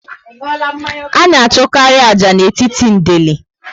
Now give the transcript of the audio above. A na achụkarị ájá n'etiti ndeli